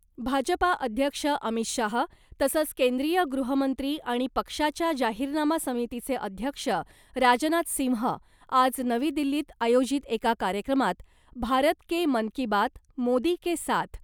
भाजपा अध्यक्ष अमित शाह तसंच केंद्रीय गृहमंत्री आणि पक्षाच्या जाहीरनामा समितीचे अध्यक्ष राजनाथ सिंह आज नवी दिल्लीत आयोजित एका कार्यक्रमात 'भारत के मन की बात , मोदी के साथ'